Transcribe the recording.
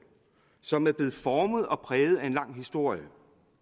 som er blevet formet og præget af en lang historie